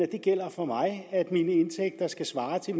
det gælder for mig at mine indtægter skal svare til